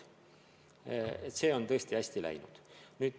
See on tõesti hästi läinud.